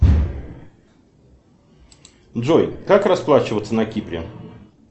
джой как расплачиваться на кипре